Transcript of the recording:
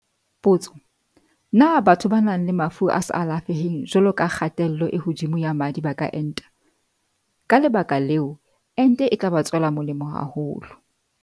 Potso- Na batho ba nang le mafu a sa alafeheng jwalo ka kgatello e hodimo ya madi ba ka enta? Ka le baka leo, ente e tla ba tswela molemo haholo.